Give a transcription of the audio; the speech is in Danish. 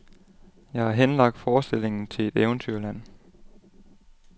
Jeg har henlagt forestillingen til et eventyrland.